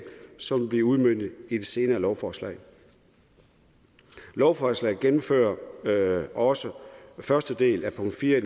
som bliver udmøntet i et senere lovforslag lovforslaget gennemfører også første del af punkt fire i